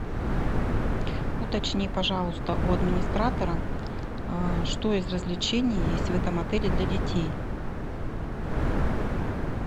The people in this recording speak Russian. уточни пожалуйста у администратора что из развлечений есть в этом отеле для детей